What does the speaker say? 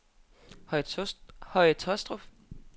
Høje Tåstrup